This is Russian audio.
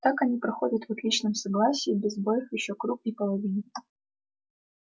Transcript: так они проходят в отличном согласии без сбоёв ещё круг и половину